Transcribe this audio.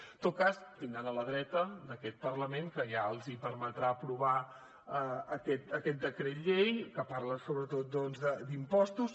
en tot cas tindran la dreta d’aquest parlament que ja els permetrà aprovar aquest decret llei que parla sobretot d’impostos